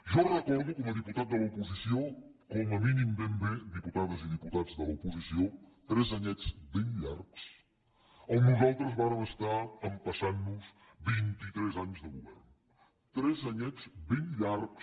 jo recordo com a diputat de l’oposició com a mínim ben bé diputades i diputats de l’oposició tres anyets ben llargs on nosaltres vàrem estar empassant nos vint i tres anys de govern tres anyets ben llargs